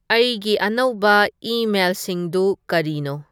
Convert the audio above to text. ꯑꯩꯒꯤ ꯑꯅꯧꯕ ꯏꯃꯦꯜꯁꯤꯡꯗꯨ ꯀꯔꯤꯅꯣ